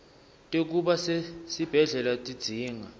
tekuba sesibhedlela tidzinga